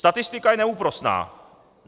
Statistika je neúprosná.